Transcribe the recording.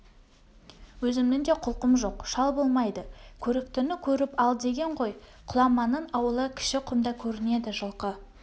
өзімнің де құлқым жоқ шал болмайды көріктіні көріп ал деген ғой құламанның ауылы кішіқұмда көрінеді жылқы